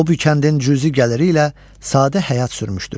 O bu kəndin cüzi gəliri ilə sadə həyat sürmüşdür.